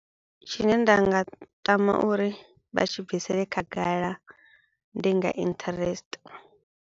Tshine nda nga tama uri vha tshi bvisele khagala ndi nga interest.